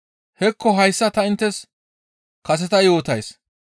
«Hekko hayssa ta inttes kaseta yootays.